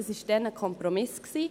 Das war damals ein Kompromiss.